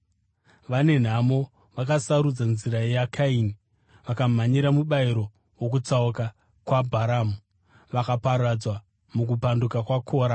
Vane nhamo! Vakasarudza nzira yaKaini; vakamhanyira mubayiro wokutsauka kwaBharamu; vakaparadzwa mukupanduka kwaKora.